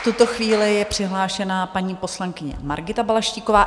V tuto chvíli je přihlášena paní poslankyně Margita Balaštíková.